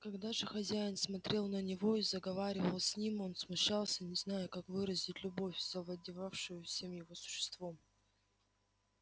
когда же хозяин смотрел на него и заговаривал с ним он смущался не зная как выразить любовь завладевшую всем его существом